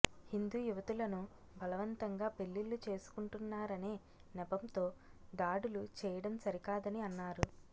హిందు యువతులను బలవంతంగా పెళ్లిళ్లు చేసుకుంటున్నారనే నెపంతో దాడులు చేయడం సరికాదని అన్నారు